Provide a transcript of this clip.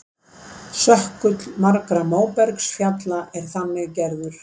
Sökkull margra móbergsfjalla er þannig gerður.